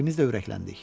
İkimiz də ürəkləndik.